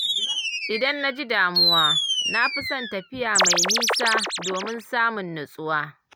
Idan na ji damuwa, na fi son tafiya mai nisa, domin samun nutsuwa.